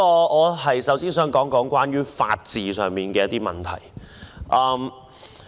我首先想說說法治上的問題。